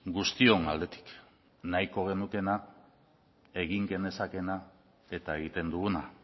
guztion aldetik nahiko genukeena egin genezakeena eta egiten duguna